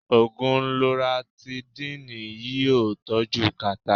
Ògùn Loratidínìì yí ọ́ tọ́jú kàtà.